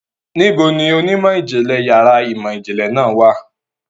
Níbo ni onímọ̀-ìjìnlẹ̀ yàrá ìmọ̀-ìjìnlẹ̀ náà wà?